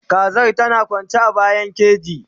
Kazar tana kwanci a bayan keji